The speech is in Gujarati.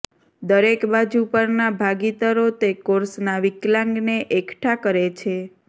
દરેક બાજુ પરના ભાગીદારો તે કોર્સના વિકલાંગને એકઠાં કરે છે